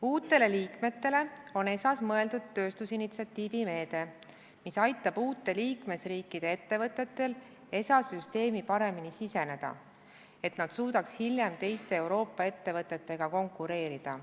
Uutele liikmetele on ESA-s mõeldud tööstusinitsiatiivi meede, mis aitab uute liikmesriikide ettevõtetel ESA süsteemi paremini siseneda, et nad suudaks hiljem teiste Euroopa ettevõtetega konkureerida.